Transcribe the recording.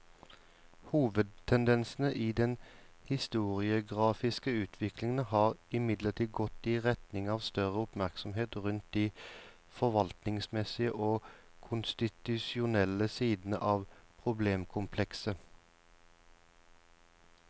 Hovedtendensen i den historiografiske utviklingen har imidlertid gått i retning av større oppmerksomhet rundt de forvaltningsmessige og konstitusjonelle sidene av problemkomplekset.